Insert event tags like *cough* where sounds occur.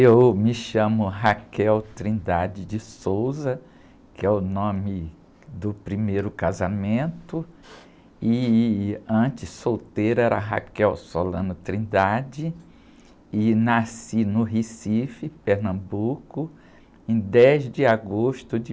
Eu me chamo, *unintelligible* que é o nome do primeiro casamento, e, antes, solteira era, *unintelligible* e nasci no Recife, Pernambuco, em dez de agosto de...